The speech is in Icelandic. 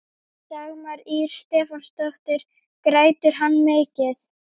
Dagmar Ýr Stefánsdóttir: Grætur hann mikið?